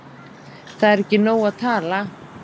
Það er ekki nóg að tala